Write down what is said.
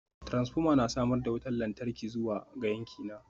Transformer na samar da wutar lantarki zuwa ga yankina